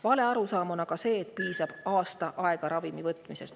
Valearusaam on see, et piisab aasta aega ravimi võtmisest.